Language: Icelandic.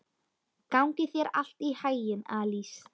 Gangi þér allt í haginn, Alís.